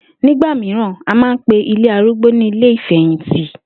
Nígbà mìíràn, a máa ń pe ilé arúgbó ní ilé ìfè̩yìntì